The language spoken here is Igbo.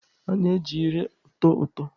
A na-eji ire ụtọ ụtọ.